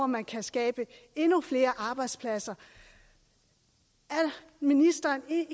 man kan skabe endnu flere arbejdspladser er ministeren ikke